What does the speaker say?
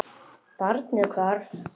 Segja hvor annarri allt.